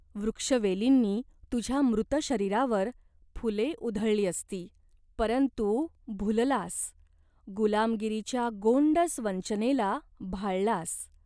वृक्षवेलींनी तुझ्या मृत शरीरावर फुले उधळली असती. परंतु भुललास, गुलामगिरीच्या गोंडस वंचनेला भाळलास.